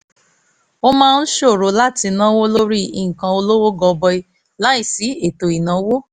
ó máa ń ṣòro láti náwó lórí nǹkan olówó gọbọi láìsí ètò ìnáwó